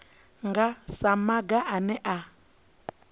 nga sa maga ane a